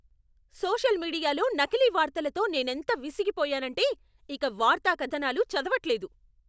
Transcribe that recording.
Social మీడియాలో నకిలీ వార్తలతో నేనెంత విసిగిపోయానంటే, ఇక వార్తా కథనాలు చదవట్లేదు.